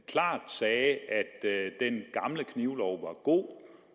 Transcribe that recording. klart sagde at den gamle knivlov var god